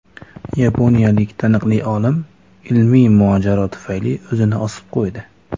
Yaponiyalik taniqli olim ilmiy mojaro tufayli o‘zini osib qo‘ydi.